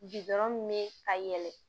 min bɛ ka yɛlɛ